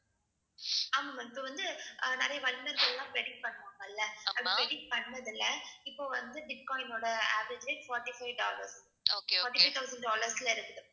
ஆமா ma'am இப்ப வந்து அஹ் நிறைய வல்லுனர்கள் எல்லாம் predict பண்ணுவாங்கல்ல, அது predict பண்ணதுல்ல இப்ப வந்து பிட்காயினோட average rate forty-five dollars, forty-five thousand dollars ல இருக்குது.